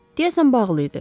Deyəsən bağlı idi.